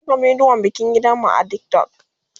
zan Saka bidiyon bikin gidan mu a TikTok